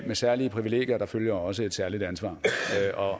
med særlige privilegier følger også et særligt ansvar